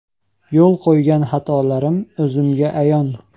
Yo‘l qo‘ygan xatolarim o‘zimga ayon.